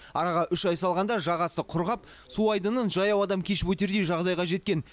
араға үш ай салғанда жағасы құрғап су айдынын жаяу адам кешіп өтердей жағдайға жеткен